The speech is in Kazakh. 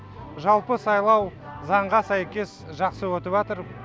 жалпы сайлау заңға сәйкес жақсы өтіпатыр